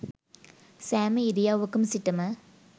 සෑම ඉරියව්වක සිටම